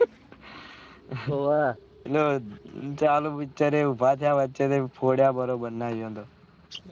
હોવે પેલો ચાલુ picture ઉભા થયા વચ્ચે ફોડ્યા બરોબર ના એયીયો ને